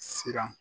Siran